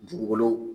Dugukolo